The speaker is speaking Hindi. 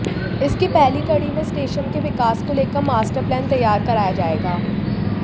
इसकी पहली कड़ी में स्टेशन के विकास को लेकर मास्टर प्लान तैयार कराया जाएगा